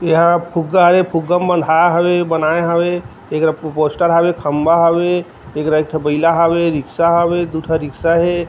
एहा फुगा हवे फुग्गा म बँधाय हवे बनाय हवे एकरा पोस्टर हवे खंबा हवे एकर एक ठो बइला हवे रिक्शा हवे दो ठो रिक्शा हे।